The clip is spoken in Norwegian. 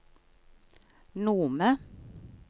Nome